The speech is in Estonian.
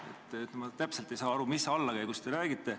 Ma ei saa täpselt aru, mis allakäigust te räägite.